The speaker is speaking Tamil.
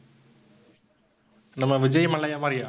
நம்ப விஜய் மல்லையா மாதிரியா